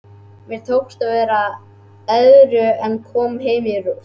Mér tókst að vera edrú en kom heim í rúst.